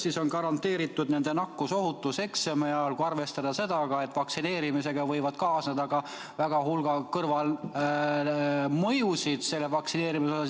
Kuidas on garanteeritud nende nakkusohutus eksami ajal, kui arvestada seda, et vaktsineerimisega võib kaasneda väga suurel hulga kõrvalmõjusid?